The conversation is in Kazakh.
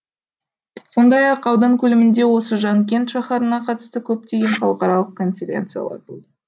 сондай ақ аудан көлемінде осы жанкент шаһарына қатысты көптеген халықаралық конференциялар болды